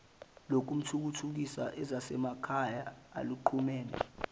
lokuthuthukisa ezasemakhaya oluxhumene